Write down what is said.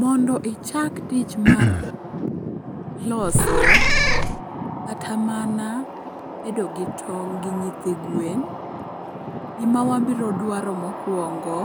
Mondo ichak tich mar loso kata mana bedo gi tong' gi nyithi gwen, gima wabro dwaro mokwongo